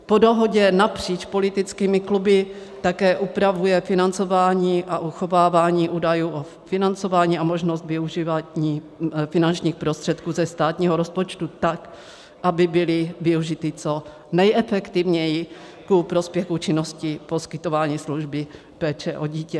Po dohodě napříč politickými kluby také upravuje financování a uchovávání údajů o financování a možnosti využívat finančních prostředků ze státního rozpočtu tak, aby byly využity co nejefektivněji ku prospěchu činnosti poskytování služby péče o dítě.